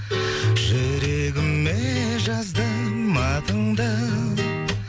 жүрегіме жаздым атыңды